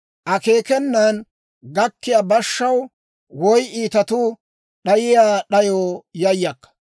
Akeekenan gakkiyaa bashshaw, woy iitatuu d'ayiyaa d'ayoo yayakka.